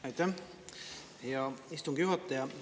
Aitäh, hea istungi juhataja!